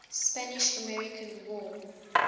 spanish american war